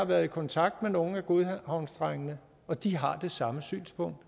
været i kontakt med nogle af godhavnsdrengene og de har det samme synspunkt